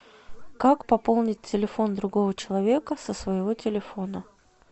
как пополнить телефон другого человека со своего телефона